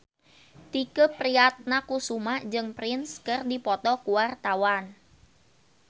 Tike Priatnakusuma jeung Prince keur dipoto ku wartawan